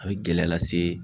A be gɛlɛya lase